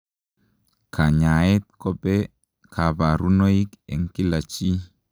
Kanyaaet kope kabarunoik eng kila chii.